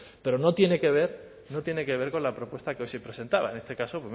pero no tiene que ver con la propuesta que hoy se presentaba en este caso